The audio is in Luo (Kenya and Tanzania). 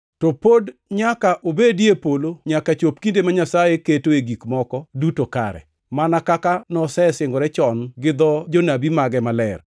To pod nyaka obedie e polo nyaka chop kinde ma Nyasaye ketoe gik moko duto kare, mana kaka nosesingore chon gi dho jonabi mage maler.